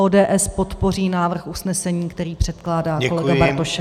ODS podpoří návrh usnesení, který předkládá kolega Bartošek.